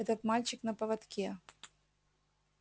этот мальчик на поводке